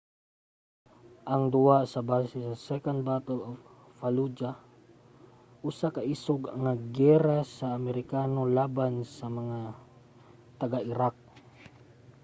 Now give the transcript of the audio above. ang duwa kay base sa second battle of fallujah usa ka isog nga giyera sa mga amerikano laban sa mga taga-iraq